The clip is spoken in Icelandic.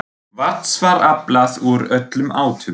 Vatns var aflað úr öllum áttum.